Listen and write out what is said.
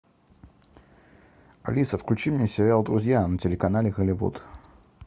алиса включи мне сериал друзья на телеканале голливуд